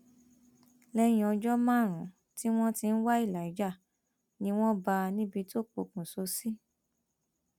lẹyìn ọjọ márùnún tí wọn ti ń wá elijah ni wọn bá a níbi tó pokùṣọ sí